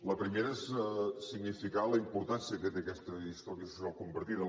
la primera és significar la importància que té aquesta història social compartida